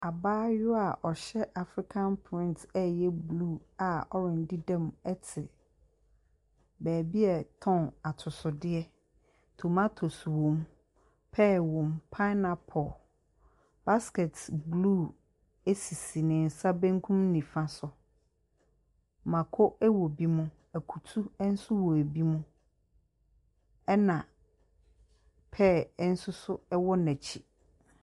Abaayaa a ɔhyɛ Africa print ɛ ɛyɛ blue a orange dedam te baabi a yɛtɔn atosodeɛ. Tomatoes wom, pear wom, pineapple, basket blue sisi ne nsa benkum ne nifa so. Mako wɔ ebi mu, akutu nso wɔ ebi mu, ɛna pear nso so wɔ n’akyi.